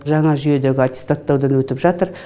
жаңа жүйедегі аттестаттаудан өтіп жатыр